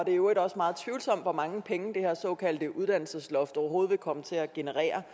i øvrigt også meget tvivlsomt hvor mange penge det her såkaldte uddannelsesloft overhovedet vil komme til at generere